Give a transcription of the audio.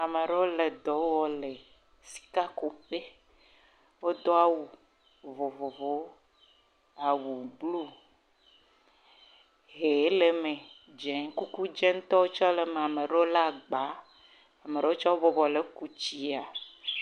Ame aɖewo le dɔ wɔm le sikakuƒe, wodo awu vovovowo, awu blu, ʋe le me, dze, kuku…